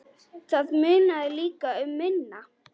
Það munaði líka um minna.